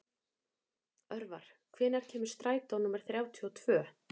Örvar, hvenær kemur strætó númer þrjátíu og tvö?